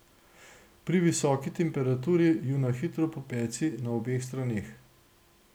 Pri visoki temperaturi ju na hitro popeci na obeh straneh.